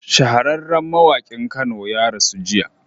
Shahararran mawakin kano ya rasu jiya